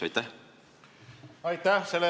Aitäh!